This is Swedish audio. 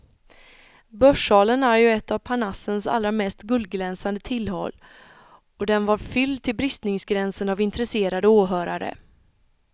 Börssalen är ju ett av parnassens allra mest guldglänsande tillhåll, och den var fylld till bristningsgränsen av intresserade åhörare.